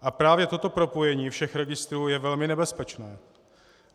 A právě toto propojení všech registrů je velmi nebezpečné.